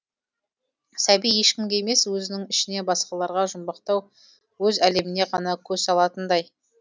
сәби ешкімге емес өзінің ішіне басқаларға жұмбақтау өз әлеміне ғана көз салатындай